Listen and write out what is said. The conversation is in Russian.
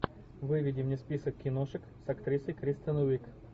выведи мне список киношек с актрисой кристен уиг